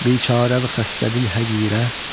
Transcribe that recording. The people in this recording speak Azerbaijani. Biçarəvü xəstədili həqirə.